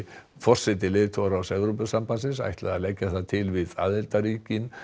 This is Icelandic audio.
forseti leiðtogaráðs Evrópusambandsins ætlaði að leggja það til við aðildarríki